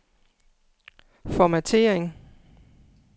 formattering